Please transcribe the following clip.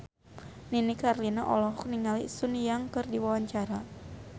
Nini Carlina olohok ningali Sun Yang keur diwawancara